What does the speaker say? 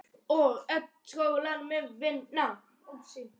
Þetta hlýtur að vera mjög þungbært eins og þú segir áðan?